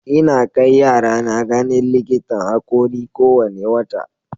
Ina kai yarana ganin likitan haƙori kowane wata.